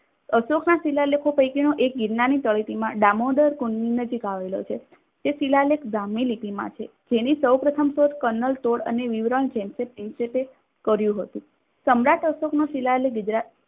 અશોકના શિલાલેખો પૈકીનો એક ગિરનારની તળેટીમાં દામોદર કુંડની નજીક આવેલો છે. તે શિલાલેખ ગ્રામ ની નીતિમાં છે. જેની સૌ પ્રથમ શોધ કલનતોડ અને વિવરણ છે. કર્યું હતું. સમ્રાટ અશોકનો શિલાલેખ ગુજરાત